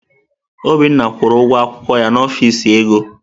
Obinna kwụrụ ụgwọ akwụkwọ ya n'ọfịs ego.